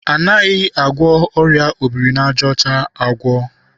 Anaghị agwọ ọrịa obiri n'aja ọcha agwọ.